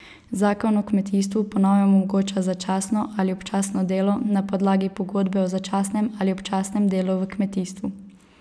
Zakon o kmetijstvu po novem omogoča začasno ali občasno delo na podlagi pogodbe o začasnem ali občasnem delu v kmetijstvu.